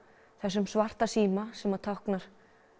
þessum svarta síma sem táknar